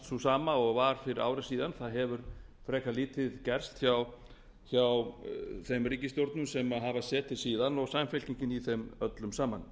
sú sama og var fyrir ári síðan það hefur frekar lítið gerst hjá þeim ríkisstjórnum sem hafa setið síðan og samfylkingin í þeim öllum saman